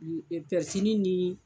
Pɛrisili nin.